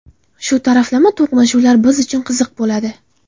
Shu taraflama to‘qnashuvlar biz uchun qiziq bo‘ladi.